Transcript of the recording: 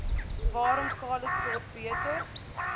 waarom calitzdorp beter